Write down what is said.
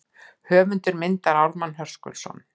Höfundur myndar Ármann Höskuldsson.